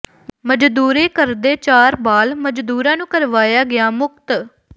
ਮਜ਼ਦੂਰੀ ਕਰਦੇ ਚਾਰ ਬਾਲ ਮਜ਼ਦੂਰਾਂ ਨੂੰ ਕਰਵਾਇਆ ਗਿਆ ਮੁਕਤ